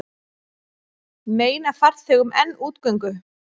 Meina farþegum enn útgöngu